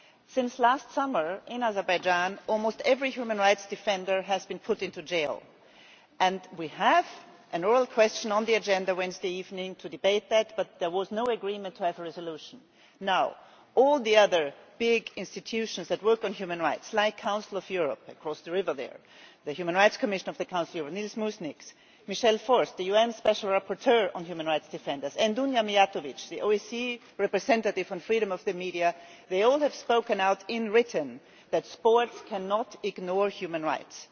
Since last summer, in Azerbaijan, almost every human rights defender has been put into jail, and we have an oral question on the agenda on Wednesday evening to debate this, but there was no agreement to have a resolution. All the other big institutions that work on human rights like the Council of Europe across the river there, Nils Muižnieks, Human Rights Commissioner of the Council of Europe, Michel Forst, UN Special Rapporteur on Human Rights Defenders, and Dunja Mijatović, the OSCEʼs Representative on Freedom of the Media all these have spoken out in writing that sport cannot ignore human rights.